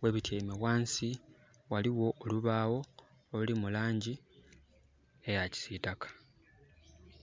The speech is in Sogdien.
ghebityaime ghansi ghaliwo olubaawo oluli mu langi eya kisitaka.